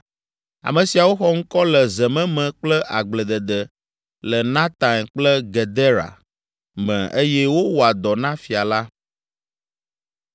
Ame siawo xɔ ŋkɔ le zememe kple agbledede le Nataim kple Gedera me eye wowɔa dɔ na fia la.